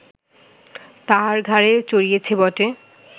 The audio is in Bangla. তাঁহার ঘাড়ে চড়িয়াছে বটে